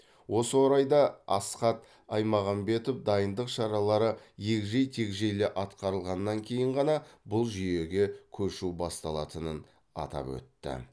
осы орайда асхат аймағамбетов дайындық шаралары егжей тегжейлі атқарылғаннан кейін ғана бұл жүйеге көшу басталатынын атап өтті